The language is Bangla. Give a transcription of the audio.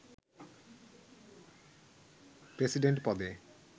প্রেসিডেন্ট পদে